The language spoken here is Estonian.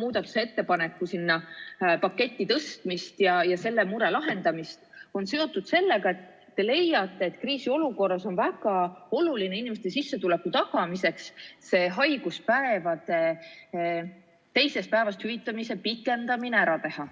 muudatusettepaneku sellesse paketti ümber tõstmist ja selle mure lahendamist, on seotud sellega, et te leiate, et kriisiolukorras on väga oluline inimeste sissetuleku tagamiseks haiguspäevade teisest päevast hüvitamise pikendamine ära teha.